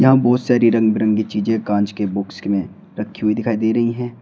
यहां बहोत सारी रंग बिरंगी चीजें कांच के बॉक्स में रखी हुई दिखाई दे रही हैं।